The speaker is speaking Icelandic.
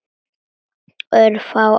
Örfá ár.